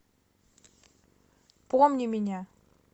помни меня